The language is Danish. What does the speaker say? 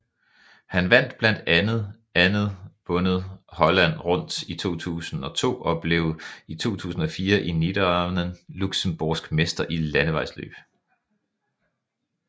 Han vandt blandt andet vundet Holland Rundt i 2002 og blev i 2004 i Niederanven luxembourgsk mester i landevejsløb